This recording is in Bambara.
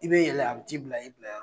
I be yɛlɛ a bi t'i bila i bilayɔrɔ